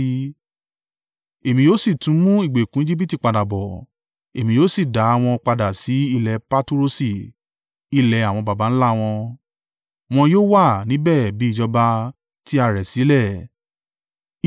Èmi yóò sì tún mú ìgbèkùn Ejibiti padà bọ̀, èmi yóò sì dá wọn padà sí ilẹ̀ Paturosi, ilẹ̀ àwọn baba ńlá wọn. Wọn yóò wà níbẹ̀ bí ìjọba tí a rẹ̀ sílẹ̀.